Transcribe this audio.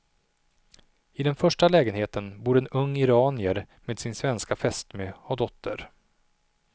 I den första lägenheten bor en ung iranier med sin svenska fästmö och dotter.